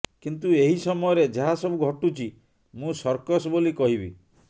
କିନ୍ତୁ ଏହି ସମୟରେ ଯାହା ସବୁ ଘଟୁଛି ମୁଁ ସର୍କସ ବୋଲି କହିବି